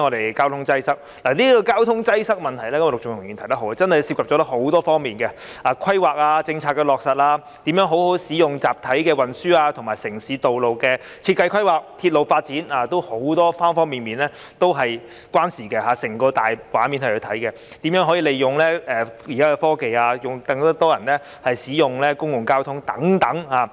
陸頌雄議員說得對，交通擠塞的問題真的涉及很多方面，例如規劃、政策的落實、如何好好使用集體運輸，以及城市道路的設計規劃和鐵路發展，很多方面都是有關係的，要從大畫面來審視；還有如何利用現時的科技，令更多人使用公共交通等。